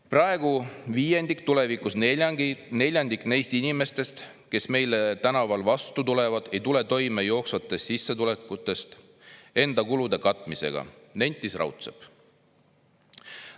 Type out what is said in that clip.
"Praegu viiendik, tulevikus neljandik neist inimestest, kes meile tänaval vastu tulevad, ei tule toime jooksvatest sissetulekutest enda kulude katmisega," nentis Raudsepp.